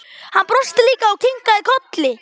Hann brosti líka og kinkaði kolli.